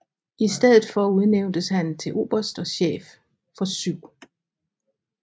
I stedet for udnævntes han til oberst og chef for 7